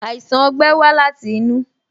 Àìsàn ogbẹ́ wa láti inú